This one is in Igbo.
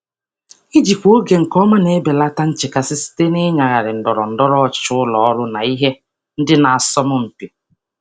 Ijikwa oge nke ọma na-ebelata nchekasị site n'ịgagharị ndọrọndọrọ ụlọ ọrụ na ihe ndị na-asọ mpi.